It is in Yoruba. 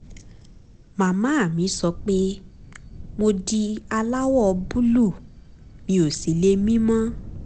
màmá mi sọ pé mo di aláwọ̀ búlúù mi ò sì lè mí mọ́